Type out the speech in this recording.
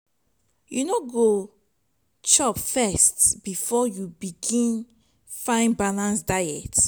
you no go chop first before you begin find balanced diet?